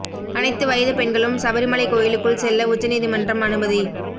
அனைத்து வயது பெண்களும் சபரிமலை கோயிலுக்குள் செல்ல உச்ச நீதிமன்றம் அனுமதி